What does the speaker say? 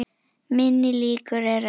Minni líkur eru á